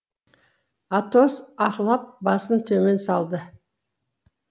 атос аһлап басын төмен салды